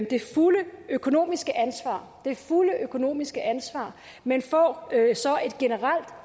det fulde økonomiske ansvar det fulde økonomiske ansvar men får så et generelt